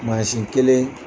Mansin kelen